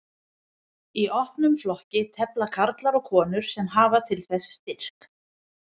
Í opnum flokki tefla karlar og konur sem hafa til þess styrk.